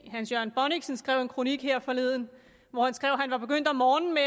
hans jørgen bonnichsen skrev en kronik her forleden hvor han skrev at han var begyndt om morgenen med